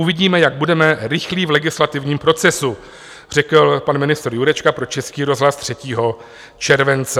Uvidíme, jak budeme rychlí v legislativním procesu," řekl pan ministr Jurečka pro Český rozhlas 3. července.